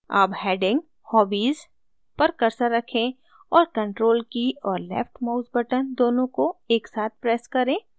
अब heading hobbies पर cursor रखें और control key और left mouse button दोनों को एक साथ press करें